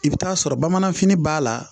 I bɛ taa sɔrɔ bamanfini b'a la